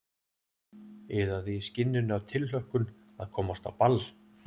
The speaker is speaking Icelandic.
Iðaði í skinninu af tilhlökkun að komast á ball.